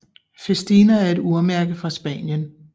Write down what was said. Festina er et urmærke fra Spanien